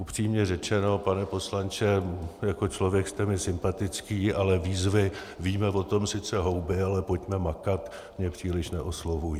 Upřímně řečeno, pane poslanče, jako člověk jste mi sympatický, ale výzvy "víme o tom sice houby, ale pojďme makat" mně příliš neoslovují.